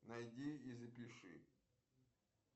найди и запиши